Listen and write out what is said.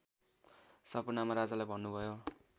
सपनामा राजालाई भन्नुभयो